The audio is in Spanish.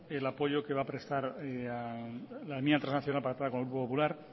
el apoyo que va a prestar a la enmienda transaccional pactada con el grupo popular